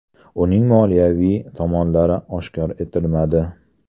Uning moliyaviy tomonlari oshkor etilmadi.